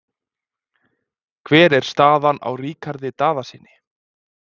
Hvernig er staðan á Ríkharði Daðasyni?